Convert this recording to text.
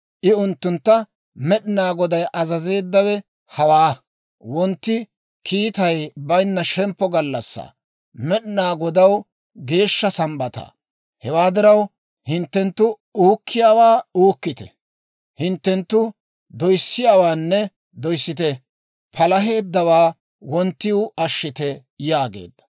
I unttuntta, «Med'inaa Goday azazeeddawe hawaa; wontti kiitay baynna shemppo gallassaa, Med'inaa Godaw geeshsha Sambbataa. Hewaa diraw, hinttenttu uukkiyaawaa uukkite; hinttenttu doyssiyaawaanne doyssite; palaheeddawaa wonttiw ashshite» yaageedda.